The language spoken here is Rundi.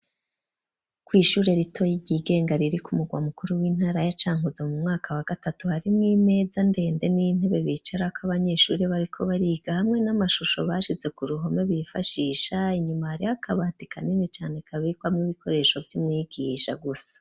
Kw’ishure ritoyi ryigenga, riri ku mugwa mukuru, w'intara ya Cankuzo; mu mwaka wa gatatu, harimwo imeza ndende, n'intebe bicarako, abanyeshure bariko bariga; hamwe n'amashusho, bashize ku ruhome, bifashisha; inyuma hariyo akabati kanini cane, kabikwamwo ibikoresho, vy'umwigija gusa.